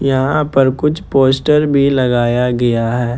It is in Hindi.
यहां पर कुछ पोस्टर भी लगाया गया है।